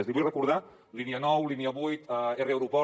l’hi vull recordar línia nou línia vuit r aeroport